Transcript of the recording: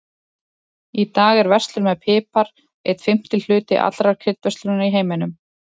Í dag er verslun með pipar einn fimmti hluti allrar kryddverslunar í heiminum.